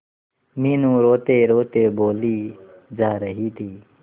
मीनू रोतेरोते बोली जा रही थी